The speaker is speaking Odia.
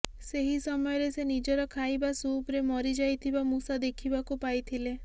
ସେହି ସମୟରେ ସେ ନିଜର ଖାଇବା ସୁପ୍ରେ ମରି ଯାଇଥିବା ମୂଷା ଦେଖିବାକୁ ପାଇଥିଲେ